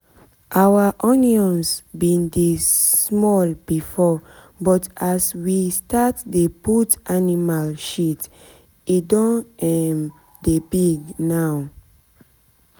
our onions bin dey small before but as we start dey put animal shit e don um dey big now